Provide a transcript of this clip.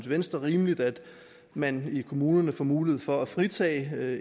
venstre rimeligt at man i kommunerne får mulighed for at fritage